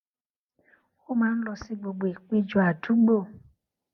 ó máa ń lọ sí gbogbo ìpéjọ àdúgbò